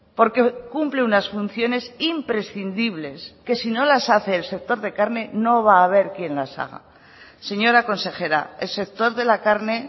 porque cumple unas funciones imprescindibles que si no las hace el sector de carne no va a haber quién las haga señora consejera el sector de la carne